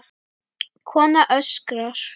Kona öskrar.